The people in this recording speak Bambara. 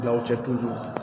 Gawo cɛ